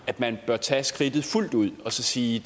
at man bør tage skridtet fuldt ud og sige